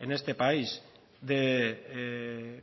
en este país de